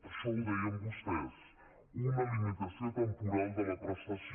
això ho deien vostès una limitació temporal de la prestació